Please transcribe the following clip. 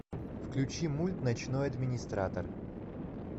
включи мульт ночной администратор